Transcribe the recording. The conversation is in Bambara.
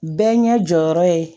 Bɛɛ ɲɛ jɔyɔrɔ ye